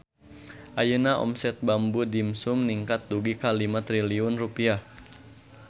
Ayeuna omset Bamboo Dimsum ningkat dugi ka 5 triliun rupiah